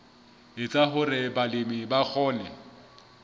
etsa hore balemi ba kgone